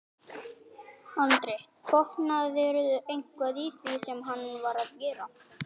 Andri: Botnaðirðu eitthvað í því sem hann var að gera?